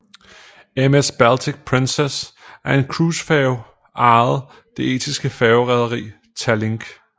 MS Baltic Princess er en cruisefærge ejet det estiske færgerederi Tallink